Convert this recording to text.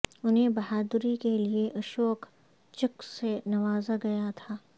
انہیں بہادری کے لئے اشوک چک سے نوازا گیا تھا